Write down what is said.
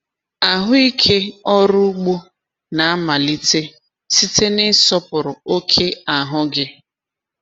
Ahụ ike ọrụ ugbo na-amalite site n’ịsọpụrụ oke ahụ gị.